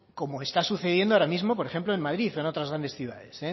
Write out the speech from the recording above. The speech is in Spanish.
como está sucediendo ahora mismo por ejemplo en madrid o en otras grandes ciudades